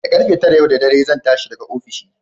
Da ƙarfe tara yau da dare zan tashi daga ofishi.